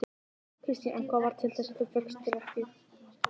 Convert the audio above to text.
Kristín: En hvað varð til þess að þú fékkst þér ekki?